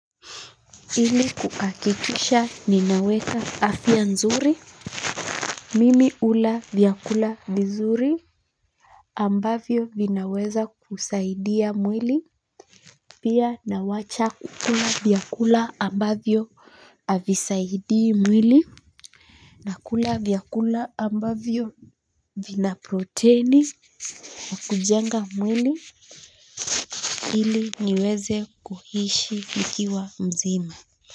Ili kuhakikisha ninaweka afya nzuri mimi hula vyakula vizuri ambavyo vinaweza kusaidia mwili. Pia nawacha kukula vyakula ambavyo havisaidii mwili. Nakula vyakula ambavyo vina protini na kujenga mwili ili niweze kuishi nikiwa mzima. Kwa hivyo.